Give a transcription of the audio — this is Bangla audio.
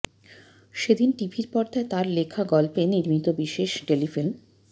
সেদিন টিভি পর্দায় তার লেখা গল্পে নির্মিত বিশেষ টেলিফিল্ম